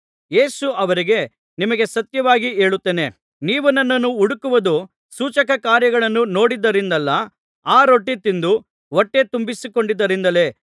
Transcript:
ಯೇಸು ಅವರಿಗೆ ನಿಮಗೆ ಸತ್ಯವಾಗಿ ಹೇಳುತ್ತೇನೆ ನೀವು ನನ್ನನ್ನು ಹುಡುಕುವುದು ಸೂಚಕಕಾರ್ಯಗಳನ್ನು ನೋಡಿದ್ದರಿಂದಲ್ಲ ಆ ರೊಟ್ಟಿ ತಿಂದು ಹೊಟ್ಟೆ ತುಂಬಿಸಿಕೊಂಡಿದ್ದರಿಂದಲೇ